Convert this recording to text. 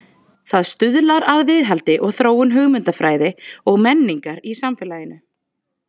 Það stuðlar að viðhaldi og þróun hugmyndafræði og menningar í samfélaginu.